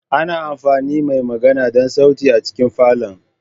Ana amfani da mai magana don sauti a cikin falon.